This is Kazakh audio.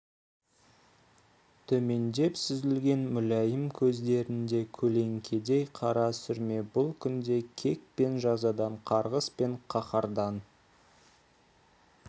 төмендеп сүзілген мүләйім көздерінде көлеңкедей қара сүрме бұл күнде кек пен жазадан қарғыс пен қаһардан